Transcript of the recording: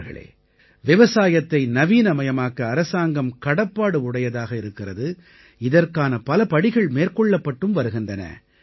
நண்பர்களே விவசாயத்தை நவீனமயமாக்க அரசாங்கம் கடப்பாடு உடையதாக இருக்கிறது இதற்கான பல படிகள் மேற்கொள்ளப்பட்டும் வருகின்றன